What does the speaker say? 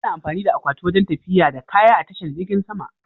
Ana amfani da akwati wajen tafiya da kaya a tashar jirgin sama.